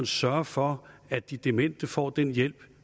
sørge for at de demente får den hjælp